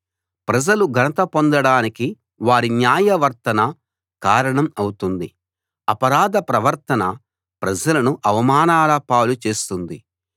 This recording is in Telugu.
ప్రజలు ఘనత పొందడానికి వారి న్యాయవర్తన కారణం అవుతుంది అపరాధ ప్రవర్తన ప్రజలను అవమానాల పాలు చేస్తుంది